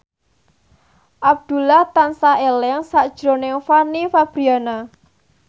Abdullah tansah eling sakjroning Fanny Fabriana